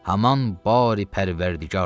Haman bari pərvərdigardır.